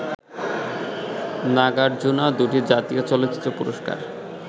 নাগার্জুনা দুটি জাতীয় চলচ্চিত্র পুরস্কার